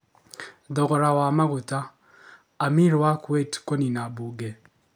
Thogora wa maguta. Amir wa Kuwait kunina mbunge